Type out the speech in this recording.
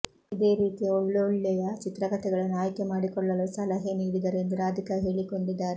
ಇದೇ ರೀತಿಯ ಒಳ್ಳೋಳ್ಳೆಯ ಚಿತ್ರಕಥೆಗಳನ್ನು ಆಯ್ಕೆ ಮಾಡಿಕೊಳ್ಳಲು ಸಲಹೆ ನೀಡಿದರು ಎಂದು ರಾಧಿಕಾ ಹೇಳಿಕೊಂಡಿದ್ದಾರೆ